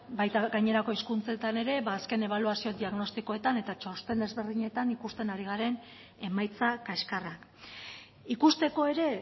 baita gainerako hizkuntzetan ere azken ebaluazio diagnostikoetan eta txosten ezberdinetan ikusten ari garen emaitza kaskarrak ikusteko ere